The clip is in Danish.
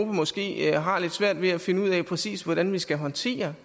måske har lidt svært ved at finde ud af præcis hvordan vi skal håndtere